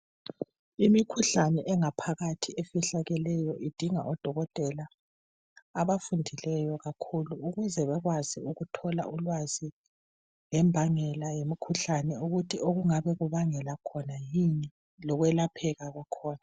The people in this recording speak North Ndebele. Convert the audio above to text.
Imikhuhlane engaphakathi efihlakeleyo idinga odokotela abafundileyo kakhulu ukuze bekwazi ukuthola ulwazi ngembangela yemikhuhlane ukuthi okungabe kubangela khona yikwiyini lokwelapheka kwakhona